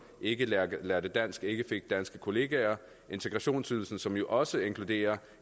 ikke lærte dansk og ikke fik danske kollegaer integrationsydelsen som jo også inkluderer